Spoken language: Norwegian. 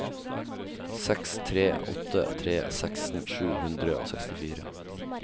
seks tre åtte tre seksten sju hundre og sekstifire